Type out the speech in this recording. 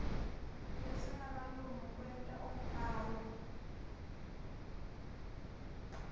lesingakalungi kwenta umbhalo